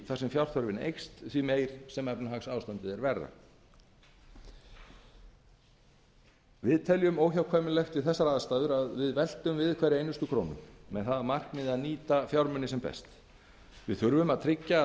sem fjárþörfin eykst því meir sem efnahagsástandið er verra hvað getum við tekið til bragðs í þessari erfiðu stöðu svarið við þessu er að við verðum að velta hverri einustu krónu með það að markmiði að nýta fjármuni sem best við þurfum að tryggja